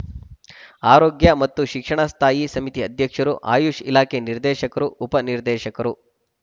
ಆರೋಗ್ಯ ಮತ್ತು ಶಿಕ್ಷಣ ಸ್ಥಾಯಿ ಸಮಿತಿ ಅಧ್ಯಕ್ಷರು ಆಯುಷ್‌ ಇಲಾಖೆ ನಿರ್ದೇಶಕರು ಉಪ ನಿರ್ದೇಶಕರು